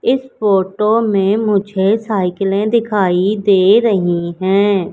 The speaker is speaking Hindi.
इस फोटो में मुझे साइकिलें दिखाई दे रही हैं।